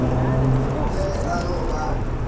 le ge a no ba